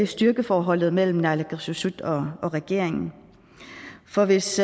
styrkeforholdet mellem naalakkersuisut og regeringen for hvis